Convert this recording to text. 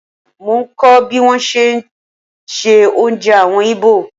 Mo ń kọ̀ bí wón ti ń se oúnjẹ àwọn Ìgbò.